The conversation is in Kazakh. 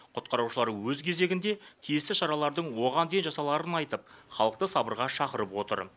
құтқарушылар өз кезегінде тиісті шаралардың оған дейін жасаларын айтып халықты сабырға шақырып отыр